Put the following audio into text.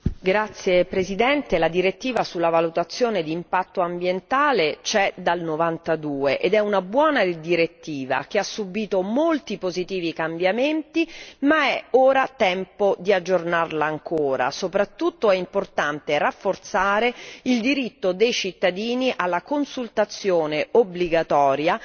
Signor Presidente, onorevoli colleghi, la direttiva sulla valutazione di impatto ambientale c'è dal 1992 ed è una buona direttiva, che ha subito molti positivi cambiamenti, ma è ora tempo di aggiornarla ancora, soprattutto è importante rafforzare il diritto dei cittadini alla consultazione obbligatoria